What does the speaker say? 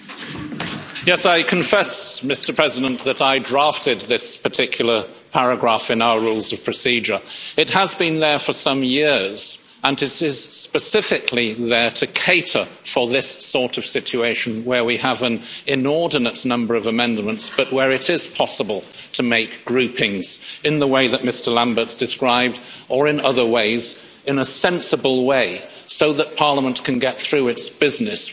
Mr President, yes, I confess that I drafted this particular paragraph in our Rules of Procedure. It has been there for some years and it is specifically there to cater for this sort of situation where we have an inordinate number of amendments but where it is possible to make groupings in the way that Mr Lamberts described, or in other ways, in a sensible way, so that Parliament can get through its business.